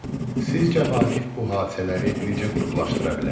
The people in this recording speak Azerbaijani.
Sizcə Vaqif bu hadisələri necə qruplaşdıra bilər?